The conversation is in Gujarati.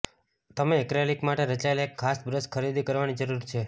તમે એક્રેલિક માટે રચાયેલ એક ખાસ બ્રશ ખરીદી કરવાની જરૂર છે